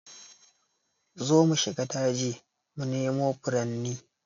Zo mu shiga daji mu nemo furanni